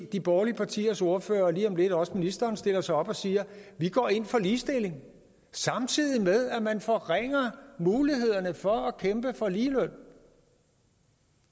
de borgerlige partiers ordførere og lige om lidt også ministeren stiller sig op og siger vi går ind for ligestilling samtidig med at man forringer mulighederne for at kæmpe for ligeløn